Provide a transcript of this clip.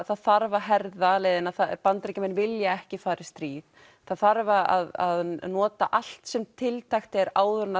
það þarf að herða leiðina Bandaríkjamenn vilja ekki fara í stríð það þarf að nota allt sem tiltækt er áður en